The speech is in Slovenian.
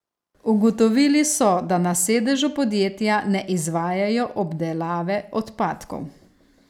Ugotovili so, da na sedežu podjetja ne izvajajo obdelave odpadkov.